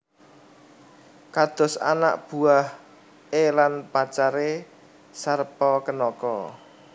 Kados anak buah e lan pacar e Sarpakenaka